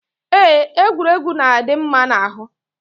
Eé, egwuregwu na-adị mma n'ahụ.